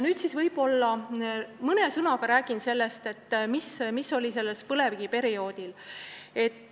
Nüüd räägin mõne sõnaga sellest, mis toimus minu Eesti Põlevkivi perioodil.